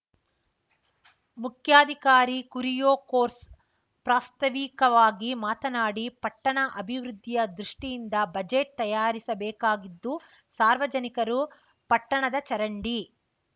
ಮುಖ್ಯಾಧಿಕಾರಿ ಕುರಿಯೋಕೋರ್ಸ್ ಪ್ರಾಸ್ತಾವಿಕವಾಗಿ ಮಾತನಾಡಿ ಪಟ್ಟಣ ಅಭಿವೃದ್ದಿಯ ದೃಷ್ಟಿಯಿಂದ ಬಜೆಟ್‌ ತಯಾರಿಸ ಬೇಕಾಗಿದ್ದು ಸಾರ್ವಜನಿಕರು ಪಟ್ಟಣದ ಚರಂಡಿ